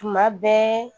Tuma bɛɛ